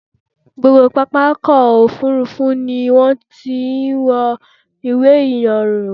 Gbogbo pápákọ̀-òfurufú ni wọ́n ti máa ń yẹ̀ ìwé-ìrìnnà wò.